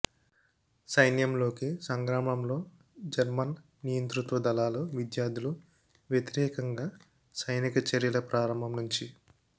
సైన్యంలోకి సంగ్రామంలో జర్మన్ నియంతృత్వ దళాలు విద్యార్థులు వ్యతిరేకంగా సైనిక చర్యల ప్రారంభం నుంచి